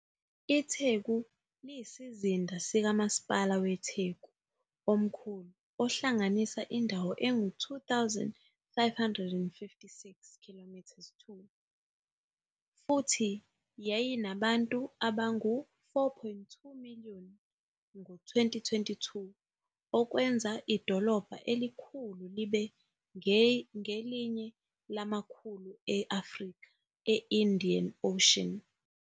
ITheku liyisizinda sikaMasipala weTheku omkhulu, ohlanganisa indawo engu 2,556 km2 futhi yayinabantu abangu-4.2 million ngo -2022, okwenza idolobha elikhulu libe ngelinye lamakhulu e- Afrika e-Indian Ocean.